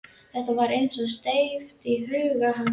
Þetta var eins og steypt í huga hans.